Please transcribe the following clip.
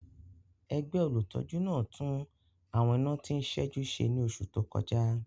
Ẹgbẹ́ olùtọ́jú náà tún àwọn iná tí ń ṣẹ́jú ṣe ní oṣù tó kọjá